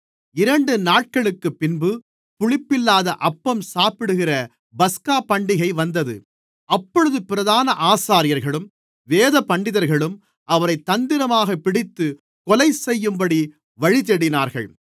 இரண்டு நாட்களுக்குப்பின்பு புளிப்பில்லாத அப்பம் சாப்பிடுகிற பஸ்காபண்டிகை வந்தது அப்பொழுது பிரதான ஆசாரியர்களும் வேதபண்டிதர்களும் அவரைத் தந்திரமாகப் பிடித்துக் கொலைசெய்யும்படி வழிதேடினார்கள்